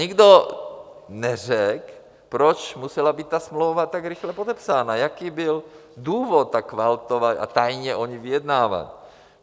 Nikdo neřekl, proč musela být ta smlouva tak rychle podepsána, jaký byl důvod tak kvaltovat a tajně o ní vyjednávat.